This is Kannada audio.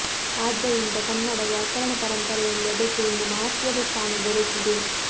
ಆದ್ದರಿಂದ ಕನ್ನಡ ವ್ಯಾಕರಣ ಪರಂಪರೆಯಲ್ಲಿ ಅದಕ್ಕೆ ಒಂದು ಮಹತ್ತ್ವದ ಸ್ಥಾನ ದೊರೆತಿದೆ